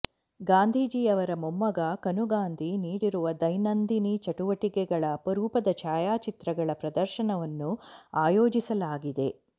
ಗಾಂಧೀಜಿಯವರ ಮೊಮ್ಮಗ ಕನು ಗಾಂಧಿ ನೀಡಿರುವ ದೈನಂದಿನ ಚಟುವಟಿಕೆಗಳ ಅಪರೂಪದ ಛಾಯಾಚಿತ್ರಗಳ ಪ್ರದರ್ಶನವನ್ನು ಆಯೋಜಿಸಲಾಗಿದೆ